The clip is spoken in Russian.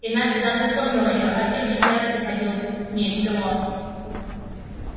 и настя даже вспомнила её антипыч не раз приходил с ней в село